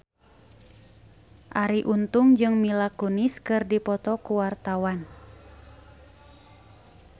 Arie Untung jeung Mila Kunis keur dipoto ku wartawan